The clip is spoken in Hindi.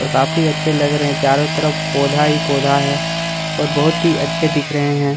और काफी अच्छे लग रहे है चारों तरफ पौधा ही पौधा है और बहुत ही अच्छे दिख रहे है।